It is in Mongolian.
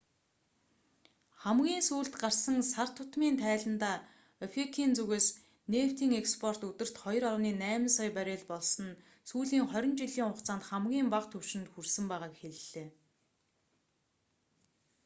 хамгийн сүүлд гарсан сар тутмын тайландаа опек-ийн зүгээс нефтийн экспорт өдөрт 2,8 сая баррел болсон нь сүүлийн хорин жилийн хугацаанд хамгийн бага түвшинд хүрсэн байгааг хэллээ